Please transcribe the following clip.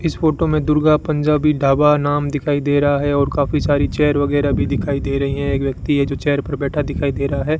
इस फोटो में दुर्गा पंजाबी ढाबा नाम दिखाई दे रहा है और काफी सारी चेयर वगैरह भी दिखाई दे रही हैं एक व्यक्ति है जो चेयर पर बैठा दिखाई दे रहा है।